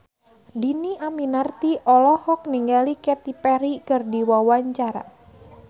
Dhini Aminarti olohok ningali Katy Perry keur diwawancara